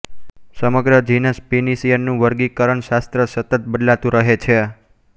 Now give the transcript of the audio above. સમગ્ર genus Pinus નું વર્ગીકરણશાસ્ત્ર સતત બદલાતું રહે છે